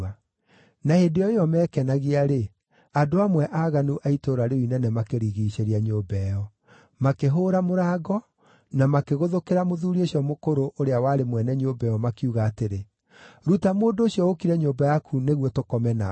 Na hĩndĩ o ĩyo meekenagia-rĩ, andũ amwe aaganu a itũũra rĩu inene makĩrigiicĩria nyũmba ĩyo. Makĩhũũra mũrango, na makĩgũthũkĩra mũthuuri ũcio mũkũrũ ũrĩa warĩ mwene nyũmba ĩyo, makiuga atĩrĩ, “Ruta mũndũ ũcio ũũkire nyũmba yaku nĩguo tũkome nake.”